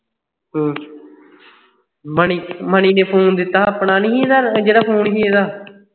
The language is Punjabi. ਹੂ ਮਨੀ ਮਨੀ ਨੇ phone ਦਿੱਤਾ ਆਪਣਾ ਆਪਣਾ ਨਹੀਂ ਸੀ ਜਿਹੜਾ phone ਸੀ ਏਦਾਂ